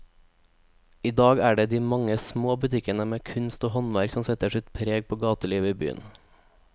I dag er det de mange små butikkene med kunst og håndverk som setter sitt preg på gatelivet i byen.